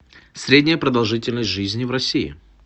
средняя продолжительность жизни в россии